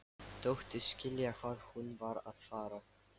Þóttist skilja hvað hún var að fara.